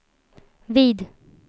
vid